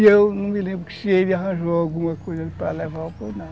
E eu não me lembro se ele arranjou alguma coisa para levar ou não.